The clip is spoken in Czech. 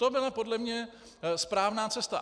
To byla podle mě správná cesta.